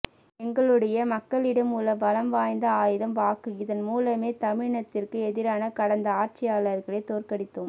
எங்களுடைய மக்களிடம் உள்ள பலம் வாய்ந்த ஆயுதம் வாக்கு இதன் மூலமே தமிழினத்திற்கு எதிரான கடந்த ஆட்சியாளர்களை தோற்கடித்தோம்